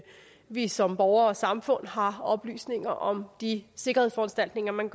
vi som borgere og samfund har oplysninger om de sikkerhedsforanstaltninger man